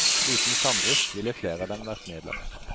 Uten samdrift ville flere av dem vært nedlagt.